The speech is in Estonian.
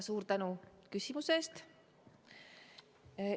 Suur tänu küsimuse eest!